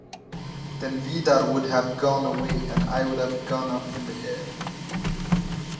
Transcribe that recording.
Þá hefði Viðar farið burt og ég upp á loft